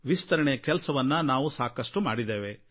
ವಿಸ್ತರಣೆಯ ಕೆಲಸವನ್ನು ನಾವು ಸಾಕಷ್ಟು ಮಾಡಿದ್ದೇವೆ